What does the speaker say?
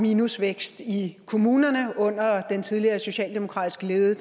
minusvækst i kommunerne under den tidligere socialdemokratisk ledede